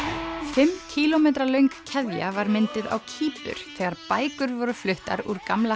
fimm kílómetra löng keðja var mynduð á Kýpur þegar bækur voru fluttar úr gamla